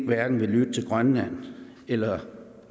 hverken vil lytte til grønland eller